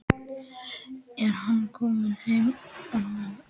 Er hann kominn heim hann Arnar?